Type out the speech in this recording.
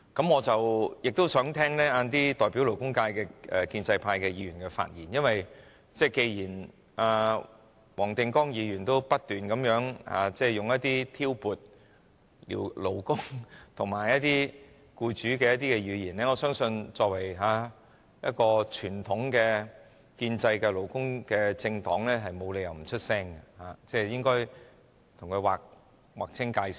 我稍後亦想聽聽代表勞工界的建制派議員的發言，因為既然黃定光議員不斷使用一些挑撥勞工與僱主的語言，我相信作為一個傳統的建制派勞工政黨，沒理由不發聲，應該與他劃清界線。